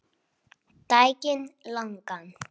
Daginn langan.